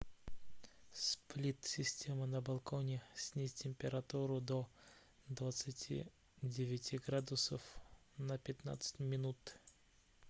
сплит система на балконе снизь температуру до двадцати девяти градусов на пятнадцать минут